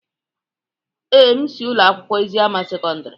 Ee, m si Ụlọ akwụkwọ Eziama sekọndrị.